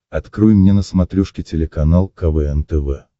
открой мне на смотрешке телеканал квн тв